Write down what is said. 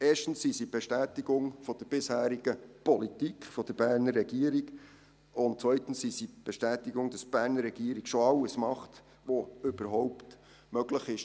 Erstens sind sie eine Bestätigung der bisherigen Politik der Berner Regierung, und zweitens sind sie eine Bestätigung dafür, dass die Berner Regierung schon alles tut, was überhaupt möglich ist.